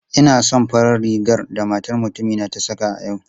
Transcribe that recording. Ina son farar rigar da matar mutumin ta saka a yau.